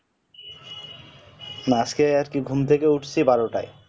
আজকে আরকি ঘুম থেকে উঠছি বারোটায়